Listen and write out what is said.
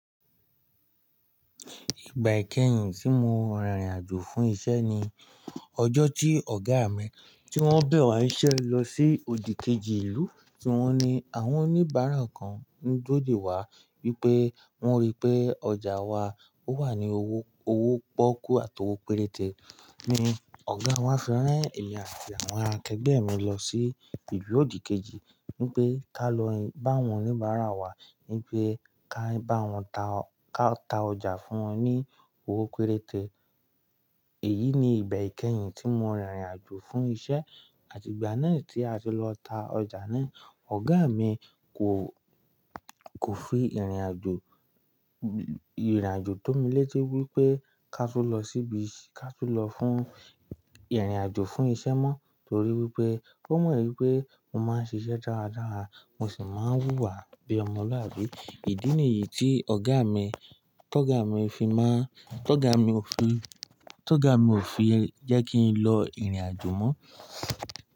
Ìgbà ikẹhìn tí mo rìnrìn àjò fún isẹ́ ni ọjọ́ tí ọ̀gá mi tí wọ́n bẹ̀ wá ń'ṣẹ́ lọ sí òdì kejì ìlú tí wọ́n ní àwọn oníbàárà kan ń durò de wá wípé wón rí pé ọjà wa o wà ní owó, owó pọ́kú àti owó péréte. Ni ọ̀gá wá fi rán emi àti àwọn akẹgbẹ́ mi lọ sí ilu òdì kejì wípé ká lọ bá àwọn oníbàárà wá wípé ká bá wọn ta ọ́, ká ta ọjà fún wọn ní owó péréte. Èyí ni ìgbà ikẹhìn tí mo rìnrìn àjò fún isẹ́ àti ìgbà náà tí a ti lọ ta ọjà náà. Ọ̀gá mi kò, kò fi ìrìn àjò, ìrìn àjò tó mi létí wípé ká tú lọ síbi, ká tú lọ fún ìrìn àjò fún isẹ́ mọ́ torí wípé ó mọ̀ wípé mo máa ń ṣiṣẹ́ dáradára mo sì máa ń wúwa bí ọmọlúàbí. Ìdí nìyí tí ọ̀gá mi, tọ́gà mi fi má ń, tọ́gà mi ò fi, tọ́gà mi ò file jẹ́ kí n lọ ìrìn àjò mọ́.